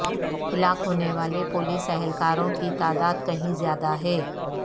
ہلاک ہونے والے پولیس اہلکاروں کی تعداد کہیں زیادہ ہے